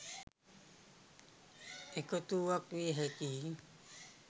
එකතු වුවක් විය හැකියි.